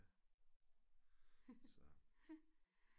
Så